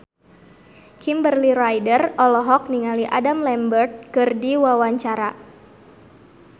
Kimberly Ryder olohok ningali Adam Lambert keur diwawancara